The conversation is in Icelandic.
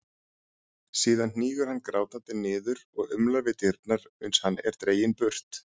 Síðan hnígur hann grátandi niður og umlar við dyrnar uns hann er dreginn burt.